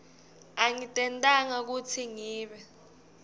angitentanga kutsi ngibe